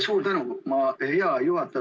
Suur tänu, hea juhataja!